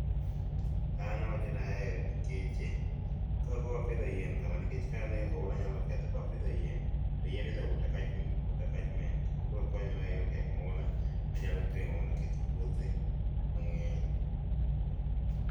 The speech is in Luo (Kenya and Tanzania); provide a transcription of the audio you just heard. an awacho nahere nikechekakoro wapidho yien kama nikech ka noula nyalo kethe ,kawa pidhi yien to yien is a water catchement obiro konyo wa e gengo oula mayalo kelo mondo oketh puothe mangeny.